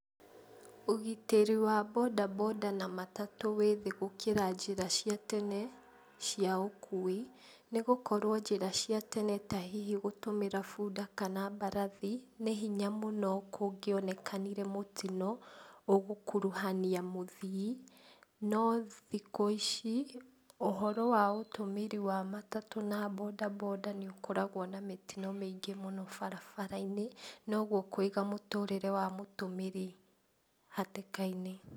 Ũgitĩri wa bodaboda na matatũ wĩ thĩ gũkĩra njĩra cia tene cia ũkui, nĩgũkorwo njĩra cia tene ta hihi gũtũmĩra bunda kana mbarathi nĩ hinya mũno kũngĩonekanire mũtino ũgũkuruhania mũthii, no thikũ ici ũhoro wa ũtũmĩri wa matatũ na bodaboda nĩũkoragwo na mĩtino mĩingĩ mũno barabara-inĩ, noguo kũiga mũtũrĩre wa mũtũmĩri hatĩka-inĩ.